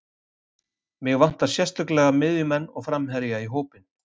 Mig vantar sérstaklega miðjumenn og framherja í hópinn.